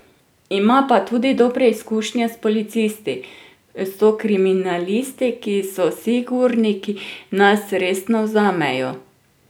Ima pa tudi dobre izkušnje s policisti: "So kriminalisti, ki so sigurni, ki nas resno vzamejo.